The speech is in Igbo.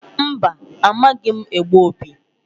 Mba! Amaghị m egbu opi.